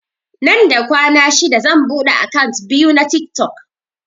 Nan da kwana shida zan buɗe akant biyu na tiktok